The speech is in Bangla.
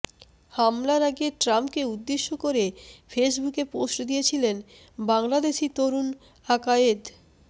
হামলার আগে ট্রাম্পকে উদ্দেশ্য করে ফেসবুকে পোস্ট দিয়েছিলেন বাংলাদেশি তরুণ আকায়েদ